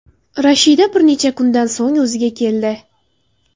Rashida bir necha kundan so‘ng o‘ziga keldi.